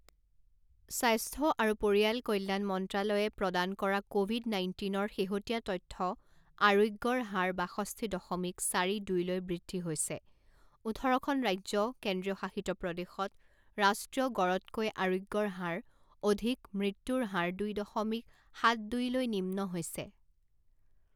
স্বাস্থ্য আৰু পৰিয়াল কল্যাণ মন্ত্ৰালয়ে প্ৰদান কৰা ক'ভিড নাইণ্টিনৰ শেহতীয়া তথ্য আৰোগ্যৰ হাৰ বাষষ্ঠি দশমিক চাৰি দুইলৈ বৃদ্ধি হৈছে ওঠৰখন ৰাজ্য কেন্দ্ৰীয়শাসিত প্ৰদেশত ৰাষ্ট্ৰীয় গড়তকৈ আৰোগ্যৰ হাৰ অধিক মৃত্যুৰ হাৰ দুই দশমিক সাত দুই লৈ নিম্ন হৈছে